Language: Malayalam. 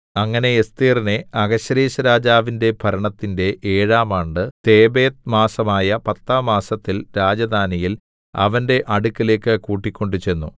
അങ്ങനെ എസ്ഥേരിനെ അഹശ്വേരോശ്‌രാജാവിന്റെ ഭരണത്തിന്റെ ഏഴാം ആണ്ട് തേബേത്ത് മാസമായ പത്താം മാസത്തിൽ രാജധാനിയിൽ അവന്റെ അടുക്കലേക്ക് കൂട്ടിക്കൊണ്ട് ചെന്നു